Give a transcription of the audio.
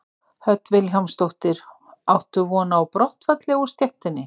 Hödd Vilhjálmsdóttir: Áttu von á brottfalli úr stéttinni?